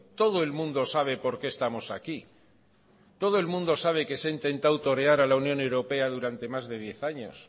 todo el mundo sabe por qué estamos aquí todo el mundo sabe que se ha intentado torear a la unión europea durante más de diez años